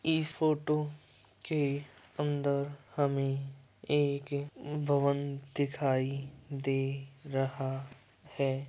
इस फोटो के अंदर हमें एक भवन दिखायी दे रहा है।